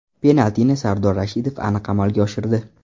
Penaltini Sardor Rashidov aniq amalga oshirdi.